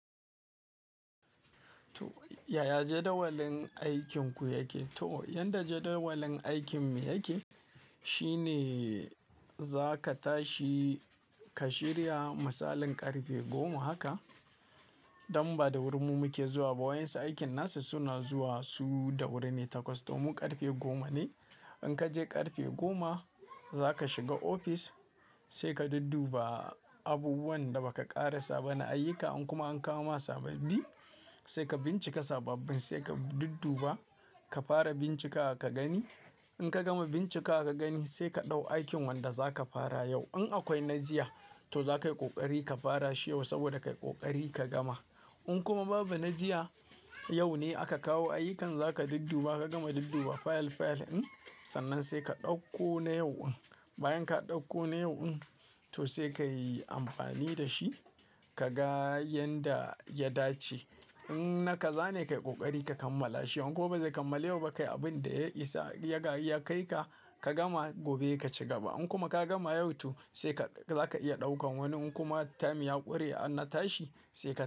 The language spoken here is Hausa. Yaya jadawalin aikinku yake? To yanda jadawalin aikin mu yake, shine za ka tashi ka shirya misalin ƙarfe goma haka. Dan ba da wuri mu muke zuwa ba wayansu aikin nasu suna zuwa su da wuri ne takwas, to mu ƙarfe goma ne. In ka je ƙarfe goma za ka shiga ofis sai ka dudduba abubuwan da ba ka ƙarasa ba na ayyuka. In kuma an kawo ma sababbi sai ka bincike sababbin sai ka dudduba, ka fara bincikawa ka gani. In ka gama bincika ka gani sai ka ɗau aikin wanda za ka fara yau. In akwai na jiya to za ka yi ƙoƙari ka fara shi yau saboda ka yi ƙoƙari ka gama. In kuma babu na jiya, yau ne aka kawo ayyukan za ka dudduba ka gama dudduba fayil fayil ɗin, sannan sai ka ɗauko na yau ɗin. Bayan ka ɗauko na yau ɗin, to sai ka yi amfani da shi ka ga yanda ya dace. In na ka zane ka yi ƙoƙari ka kammala shi. In ko bazai kammala yau ba kai abin da ya isa ya kaika, ka gama gobe ka ci gaba. In kuma ka gama yau to sai ka-- za ka iya ɗaukan wani. In kuma time ya ƙure an na tashi sai ka.